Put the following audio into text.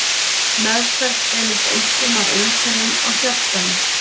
Meðferð beinist einkum að einkennum á hjartanu.